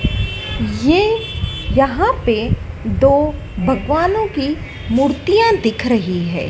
ये यहां पे दो भगवानों की मूर्तियां दिख रही हैं।